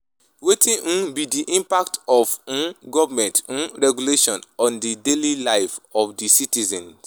Wetin um be di impact of um government um regulations on di daily life of di citizens?